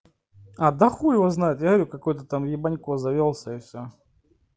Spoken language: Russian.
а да хуй его знает я говорю какой-то там ебанько завёлся и все